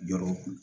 Jɔɔrɔ kun